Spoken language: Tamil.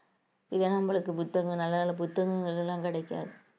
இதே நம்மளுக்கு புத்தகங்கள் நல்ல புத்தகங்கள் எல்லாம் கிடைக்காது